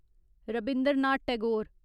Rabindranath Tagore